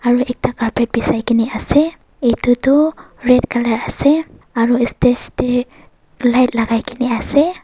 Aro ekta carpet bechai kena ase etu tuh red colour ase aro stage dae light lagaikena ase.